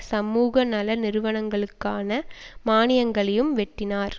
சமூக நல நிறுவனங்களுக்கான மானியங்களையும் வெட்டினார்